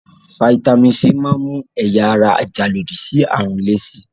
Fataímìn C máa ń mú ẹ̀yà ara ajàlòdí sí àrùn le si.